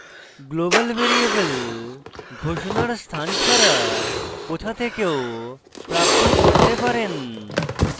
global variable ঘোষণার স্থান ছাড়া কোথা থেকেও প্রাপ্ত করতে পারেন